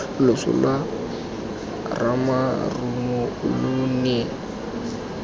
loso lwa ramarumo lo ne